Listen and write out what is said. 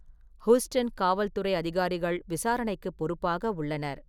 Houston காவல் துறை அதிகாரிகள் விசாரணைக்கு பொறுப்பாக உள்ளனர்.